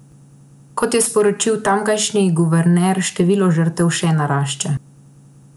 Kot je sporočil tamkajšnji guverner, število žrtev še narašča.